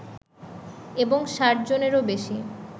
এবং ষাট জনেরও বেশি